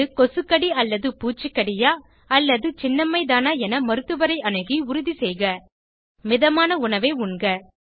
அது கொசுக்கடிபூச்சிக்கடியா அல்லது சின்னம்மைதானா என மருத்துவரை அணுகி உறுதிசெய்க மிதமான உணவை உண்க